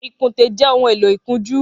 Ikùnté jè óhùn éló ikùnjù